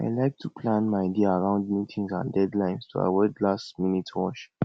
i like to plan my day around meetings and deadlines to avoid lastminute rush